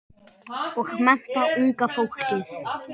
Og mennta unga fólkið.